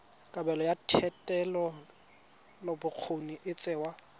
kabelo ya thetelelobokgoni e tsewa